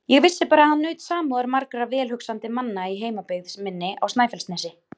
Ég vissi bara að hann naut samúðar margra velhugsandi manna í heimabyggð minni á Snæfellsnesi.